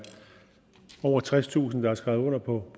over tredstusind der har skrevet under på